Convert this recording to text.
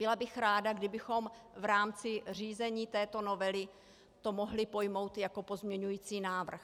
Byla bych ráda, kdybychom v rámci řízení této novely to mohli pojmout jako pozměňovací návrh.